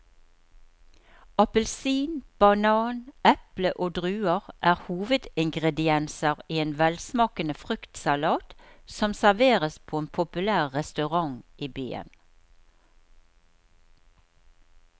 Appelsin, banan, eple og druer er hovedingredienser i en velsmakende fruktsalat som serveres på en populær restaurant i byen.